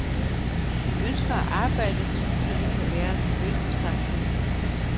Vi ønsker at arbejde, så vi kan være til nytte for samfundet.